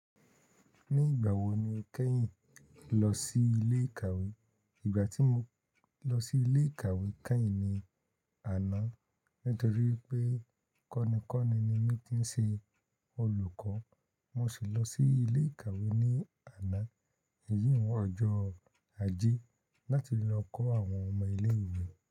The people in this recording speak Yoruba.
Nígbà wo ni o kẹ́yìn lọ sí ilé ìkàwé? Ìgbà tí mo lọ sí ilé ìkàwé kẹ́yìn ni àná nítorí pé kọ́nikọ́ni ni mí kí ń ṣe olùkọ́. Mo sì lọ sí ilé ìkàwé ní àná, èyí wọn ọjọ́ ajé láti lọ kọ́ àwọn ọmọ ilé ìwé.